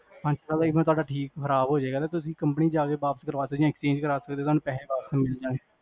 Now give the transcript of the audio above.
ਹਾਂਜੀ even ਜੇ ਤੁਹਾਡਾ ਠੀਕ ਖਰਾਬ ਹੋਗਿਆ, ਤਾਂ ਤੁਸੀਂ ਕੰਪਨੀ ਚ ਜਾ ਕੇ ਵਾਪਸ ਕਰਵਾ ਸਕਦੇ ਹੋ, ਜਾ exchange ਕਰਵਾ ਸਕਦੇ ਹੋ